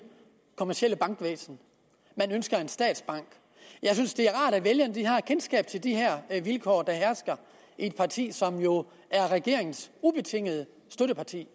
kommercielle bankvæsen man ønsker en statsbank jeg synes det er rart at vælgerne har et kendskab til de vilkår der hersker i et parti som jo er regeringens ubetingede støtteparti